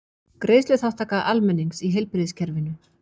Greiðsluþátttaka almennings í heilbrigðiskerfinu.